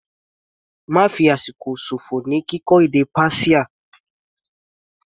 Ma fi àsìkò ṣòfò ní kíkọ́ èdè Persia.